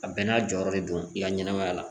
A bɛɛ n'a jɔyɔrɔ de don i ka ɲɛnɛmaya la